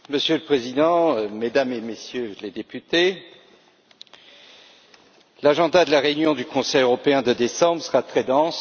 Monsieur le Président, Mesdames et Messieurs les députés, l'ordre du jour de la réunion du Conseil européen de décembre sera très dense.